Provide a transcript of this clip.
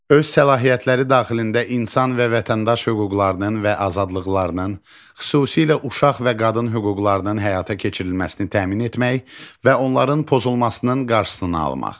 Öz səlahiyyətləri daxilində insan və vətəndaş hüquqlarının və azadlıqlarının, xüsusilə uşaq və qadın hüquqlarının həyata keçirilməsini təmin etmək və onların pozulmasının qarşısını almaq.